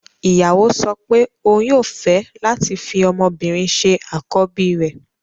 Ìyàwó sọ pé òun yóò fẹ́ láti fi ọmọbìnrin ṣe àkọ́bí rẹ̀